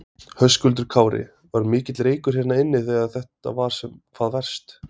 Höskuldur Kári: Var mikill reykur hérna inni þegar þetta var hvað verst?